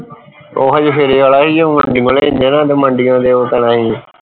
ਉਹ ਹਜੇ ਫੇਰੇ ਆਲਾ ਸੀ ਮੰਡੀਓਂ ਲੈਂਦੇ ਨਾ ਤੇ ਮੰਡਿਓ ਪੈਣਾ ਸੀ